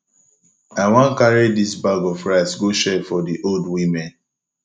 i wan carry dis bag of rice go share for di old women